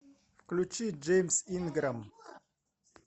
включи джеймс инграм